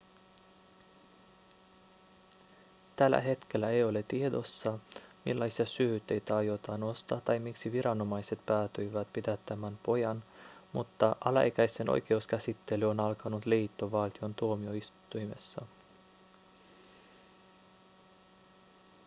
tällä hetkellä ei ole tiedossa millaisia syytteitä aiotaan nostaa tai miksi viranomaiset päätyivät pidättämään pojan mutta alaikäisen oikeuskäsittely on alkanut liittovaltion tuomioistuimessa